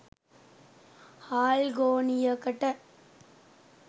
හාල් ගෝනියකට